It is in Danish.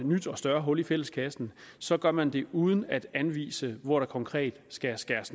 nyt og større hul i fælleskassen så gør man det uden at anvise hvor der konkret skal skæres